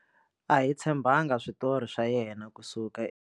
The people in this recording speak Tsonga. A hi tshembangi switori swa yena kusuka.